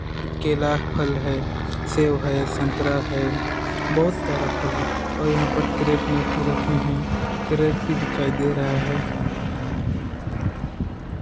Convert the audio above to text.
केला फल है। सेव है संतरा है बहुत सारा फल है और यहाँ पर क्रेट में भी है। क्रेट मे भी दिखाई दे रहा है।